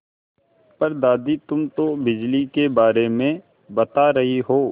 पर दादी तुम तो बिजली के बारे में बता रही हो